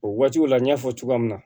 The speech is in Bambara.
O waatiw la n y'a fɔ cogoya min na